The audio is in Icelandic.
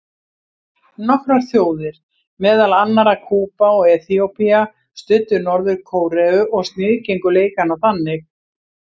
Nokkrar þjóðir, meðal annarra Kúba og Eþíópía, studdu Norður-Kóreu og sniðgengu leikana einnig.